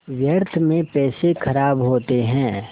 व्यर्थ में पैसे ख़राब होते हैं